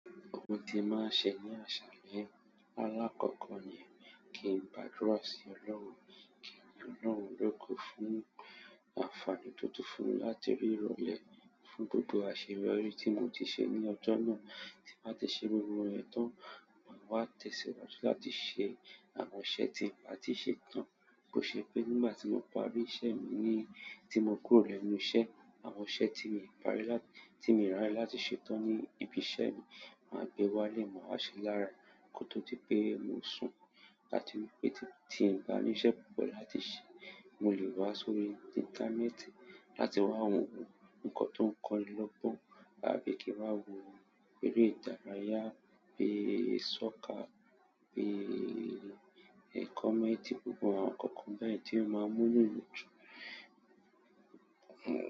Gbogbo nkan ti mo máa n se ní má salaye alakoko ni pe kí n gbàdúrà si ọlọ́run, ki n yin ọlọ́run logo fún àǹfààní to tun fún mi láti rí ìrọ̀lẹ́ yìí, fún gbogo àṣeyọrí tí mo ti se ni ọjọ náà, tí mo ba tí se iyen tan màá wá tẹ̀síwájú láti ṣe àwọn iṣẹ́ tí n bà tí ṣe tán. Bó ṣe pé nígbà tí mo parí iṣẹ́ mi ni tí mo kúrò lẹ́nu iṣẹ́, àwọn iṣẹ́ tí mi o parí láti tí mi o raye láti ṣe tán ní ibi iṣẹ́ mi máa gbé wá ilé, màá ṣe lára è kó tó di pé mo sùn. Láti wípé tí n bá ní iṣẹ́ púpọ̀ láti ṣe, mo lè wá sórí íńtánẹ́ẹ̀tì láti wá wo- ǹkan tó ń kó ni lọ gbọn, àbí kí n wá wo eré ìdárayá, bí i sọ́kà, bí i ẹ̀kọ́ komenti, gbogbo àwọn nkankan beyen tí ó máa mú inú mí dùn.